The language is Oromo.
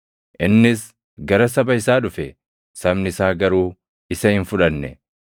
Innis gara saba isaa dhufe; sabni isaa garuu isa hin fudhanne.